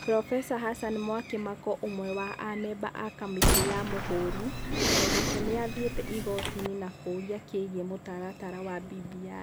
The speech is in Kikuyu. Profesa Hassan Mwakimako ũmwe wa amemba a kamĩtĩ ya Mũhũri, o nake nĩ athire igoti-inĩ na kĩũria kĩgiĩ mũtaratara wa BBI.